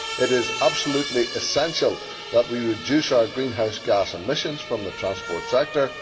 It is absolutely essential that we reduce our greenhouse gas emissions from the transport sector.